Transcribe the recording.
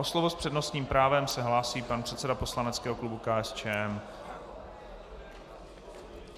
O slovo s přednostním právem se hlásí pan předseda poslaneckého klubu KSČM.